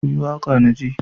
ku yi waƙa na ji!